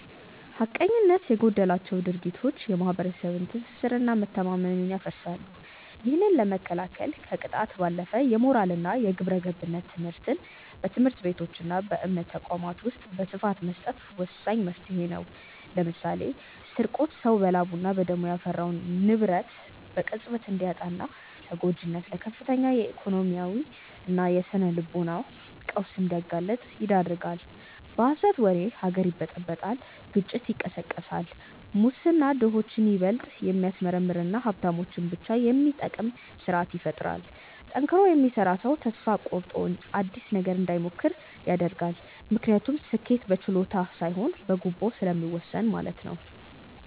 ሐቀኝነት የጎደላቸው ድርጊቶች የማኅበረሰብን ትስስርና መተማመን ያፈርሳሉ። ይህንን ለመከላከል ከቅጣት ባለፈ የሞራልና የግብረገብነት ትምህርትን በትምህርት ቤቶችና በእምነት ተቋማት ውስጥ በስፋት መስጠት ወሳኝ መፍትሔ ነው። ለምሳሌ ስርቆት ሰው በላቡና በደሙ ያፈራውን ንብረት በቅጽበት እንዲያጣና ተጎጂውን ለከፍተኛ የኢኮኖሚና የስነ-ልቦና ቀውስ እንዲጋለጥ ይዳርጋል። በሐሰት ወሬ ሀገር ይበጠበጣል ግጭት ይቀሰቀሳል። ሙስና ድሆችን ይበልጥ የሚያስመርርና ሀብታሞችን ብቻ የሚጠቅም ስርአት ይፈጥራል። ጠንክሮ የሚሰራ ሰው ተስፋ ቆርጦ አዲስ ነገር እንዳይሞክር ያደርጋል፤ ምክንያቱም ስኬት በችሎታ ሳይሆን በጉቦ ስለሚወሰን ማለት ነው።